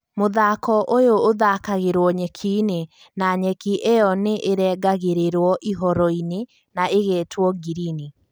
mũthako ũyũ ũthakagĩrwo nyeki-inĩ na nyeki iyo nĩ ĩrengagirirwo ihoro-inĩ na igetwo ngirini